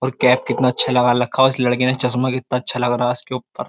और कैप कितना अच्छा लगा रखा उस लड़के ने चश्मा कितना अच्छा लग रहा है उसके ऊपर।